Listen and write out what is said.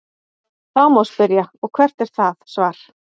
Þá má spyrja: Og hvert er það svar?.